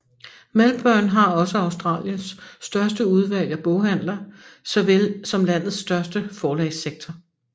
Melbourne har også Australiens største udvalg af boghandler såvel som landets største forlagssektor